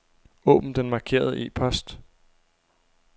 Åbn den markerede e-post.